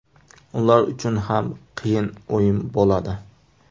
Ular uchun ham qiyin o‘yin bo‘ladi.